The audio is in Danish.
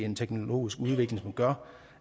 en teknologisk udvikling som gør